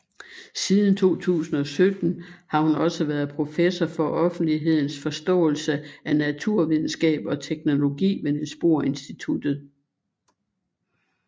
Siden 2017 har hun også været professor for offentlighedens forståelse af naturvidenskab og teknologi ved Niels Bohr Institutet